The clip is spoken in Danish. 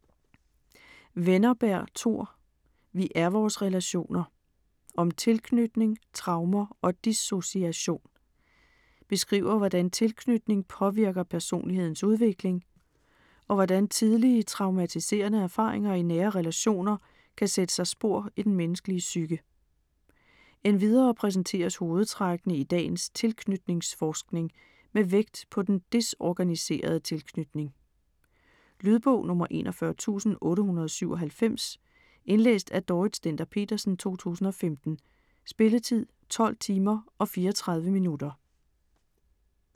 Wennerberg, Tor: Vi er vores relationer: om tilknytning, traumer og dissociation Beskriver hvordan tilknytning påvirker personlighedens udvikling, og hvordan tidlig traumatiserende erfaringer i nære relationer kan sætte sig spor i den menneskelige psyke. Endvidere præsenteres hovedtrækkene i dagens tilknytningsforskning med vægt på den desorganiserede tilknytning. Lydbog 41897 Indlæst af Dorrit Stender-Petersen, 2015. Spilletid: 12 timer, 34 minutter.